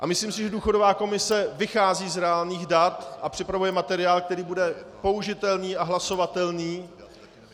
A myslím si, že důchodová komise vychází z reálných dat a připravuje materiál, který bude použitelný a hlasovatelný.